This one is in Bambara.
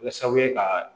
Kɛ sababu ye ka